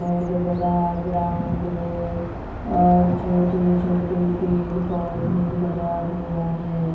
बहुत बड़ा ग्राउड़ है और छोटे - छोटे पेड़-पौधा लगा हुआ है।